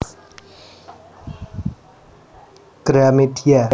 Gramedia